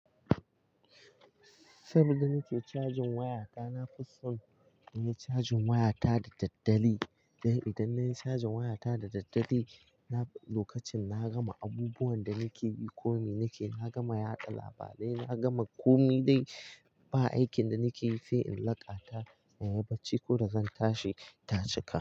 Saboda nake cajin waya ta, na fi son na yi cajin waya ta da daddare. Dan idan na yi cajin waya ta da daddare, lokacin na gama abubuwan da nake yi ko mi nake, na gama yada labarai, na gama komi dai ba aikin da nake yi sai in laƙa ta. Inyi bacci koda zan tashi ta cika.